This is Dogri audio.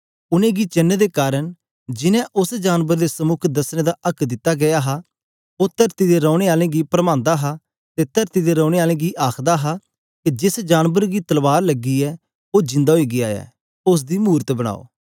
उनेंगी चेन्न दे कारन जिनैं उस्स जानबर दे समुक दसने दा आक्क दिता गीया हा ओ तरती दे रैने आलें गी परमांदा हा ते तरती दे रेंने आलें गी आखदा हा के जेस जानबर गी तलवार लगी हे ओ जिंदा ओई गीया ऐ उस्स दी मूरत बनाओ